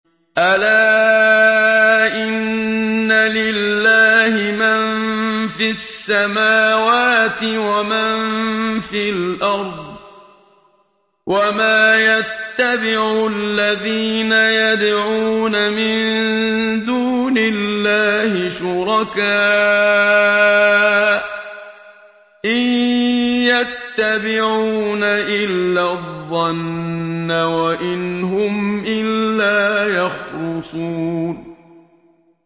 أَلَا إِنَّ لِلَّهِ مَن فِي السَّمَاوَاتِ وَمَن فِي الْأَرْضِ ۗ وَمَا يَتَّبِعُ الَّذِينَ يَدْعُونَ مِن دُونِ اللَّهِ شُرَكَاءَ ۚ إِن يَتَّبِعُونَ إِلَّا الظَّنَّ وَإِنْ هُمْ إِلَّا يَخْرُصُونَ